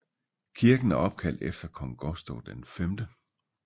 Kirken er opkaldt efter kong Gustaf V